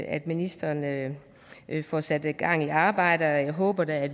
at ministeren får sat gang i arbejdet og jeg håber da at